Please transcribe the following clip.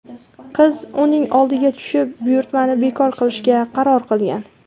Qiz uning oldiga tushib buyurtmani bekor qilishga qaror qilgan.